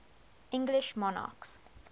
english monarchs